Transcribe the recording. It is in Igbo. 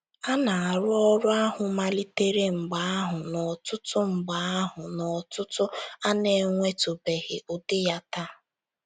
A na-arụ ọrụ ahụ malitere mgbe ahụ n'ọ̀tụ̀tụ̀ mgbe ahụ n'ọ̀tụ̀tụ̀ a na-enwetụbeghị ụdị ya taa.